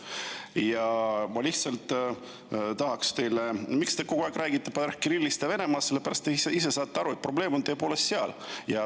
Ma tahan lihtsalt teile öelda, et põhjus, miks te räägite kogu aeg Kirillist ja Venemaast, on see, et te saate isegi aru, et probleem on tõepoolest seal.